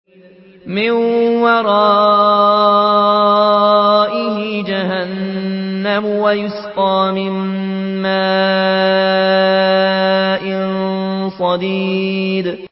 مِّن وَرَائِهِ جَهَنَّمُ وَيُسْقَىٰ مِن مَّاءٍ صَدِيدٍ